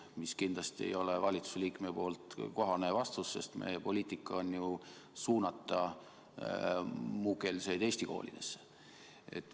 See kindlasti ei ole valitsuse liikmele kohane vastus, sest meie poliitika on ju suunata muukeelseid eesti koolidesse.